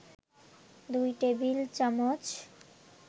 ২ টেবিল-চামচ